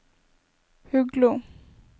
Huglo